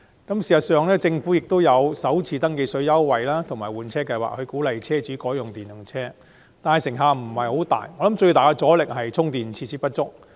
政府雖提供電動車首次登記稅寬免措施和推行"一換一"計劃，鼓勵車主改用電動車，但成效不彰，我認為主因在於充電設施不足。